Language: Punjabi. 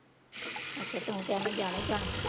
ਅੱਛਾ ਤੂੰ ਕਿਹਾ ਮੈਂ ਜਾਣਾ ਹੀ ਜਾਣਾ।